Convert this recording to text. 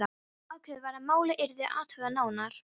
Ákveðið var að málið yrði athugað nánar.